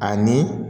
Ani